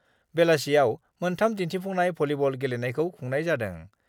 बेलासियाव मोनथाम दिन्थिफुंनाय भलीबल गेलेनायखौ खुंनाय जादों।